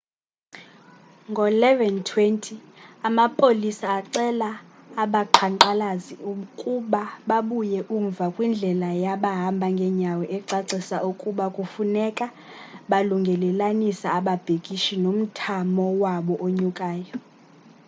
ngo-11:20,amapolisa acela abaqhankqalazi ukuba babuye umva kwindlela yabahamba ngenyawo ecacisa ukuba kufuneka balungelelanisa ababhikishi nomthamo wabo onyukayo